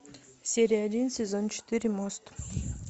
серия один сезон четыре мост